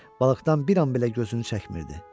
Balıqdan bir an belə gözünü çəkmirdi.